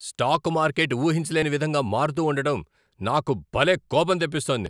Stock market ఊహించలేని విధంగా మారుతూ ఉండటం నాకు భలే కోపం తెప్పిస్తోంది!